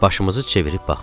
Başımızı çevirib baxdıq.